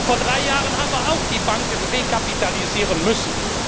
Vor drei Jahren haben wir auch die Banken rekapitalisieren müssen.